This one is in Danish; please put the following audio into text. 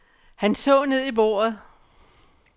Han så ned i bordet.